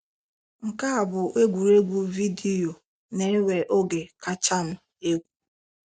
Nke a bụ egwuregwu vidiyo na-ewe oge kacha m egwu.